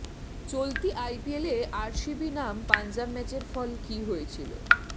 চলতি আইপিএলে আরসিবি নাম পাঞ্জাব ম্যাচের ফল কী হয়েছিল